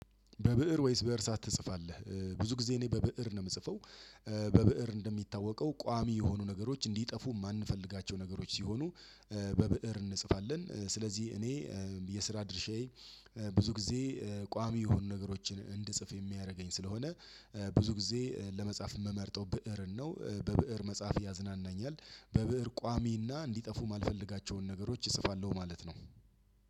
በብእር ወይስ በእርሳስ ትጽፋለህ? ብዙ ጊዜ እኔ በብእር ነው የምጽፈው። በብእር እንደሚታወቀው ቋሚ የሆኑ ነገሮች እንዲጠፉ የማንፈልጋቸው ነገሮች ሲሆኑ በብእር እንጽፋለን። ስለዚህ እኔ የስራ ድርሻዬ ብዙ ጊዜ ቋሚ የሆኑ ነገሮችን እንድጽፍ የሚያደርገኝ ስለሆነ ብዙ ጊዜ ለመጻፍ የምመርጠው ብእርን ነው። በብእር መጻፍ ያዝናናኛል። በብእር ቋሚና እንዲጠፉ የማልፈልጋቸውን ነገሮች እጽፋለሁ ማለት ነው።